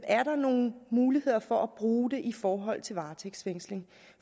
er nogle muligheder for at bruge det i forhold til varetægtsfængsling